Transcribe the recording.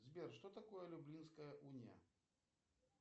сбер что такое люблинская уния